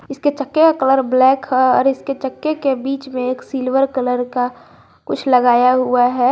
इसके चक्के का कलर ब्लैक है और इसके चक्के के बीच में एक सिल्वर कलर का कुछ लगाया हुआ है।